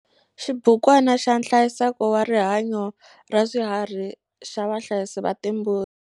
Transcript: Xibukwana xa nhlayiseko wa rihanyo ra swiharhi xa vahlayisi va timbuti.